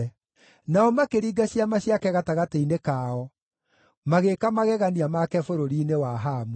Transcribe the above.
Nao makĩringa ciama ciake gatagatĩ-inĩ kao, magĩĩka magegania make bũrũri-inĩ wa Hamu.